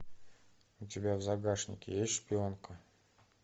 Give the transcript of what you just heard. у тебя в загашнике есть шпионка